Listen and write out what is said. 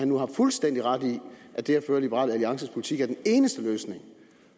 nu har fuldstændig ret i at det at føre liberal alliances politik er den eneste løsning